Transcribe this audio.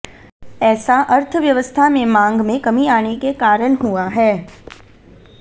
ऐसा अर्थव्यवस्था में मांग में कमी आने के कारण हुआ है